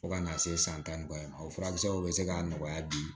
Fo ka n'a se san tan ni kɔ ye o furakisɛw bɛ se k'a nɔgɔya bi